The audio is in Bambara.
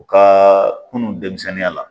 U ka kunun denmisɛnninya la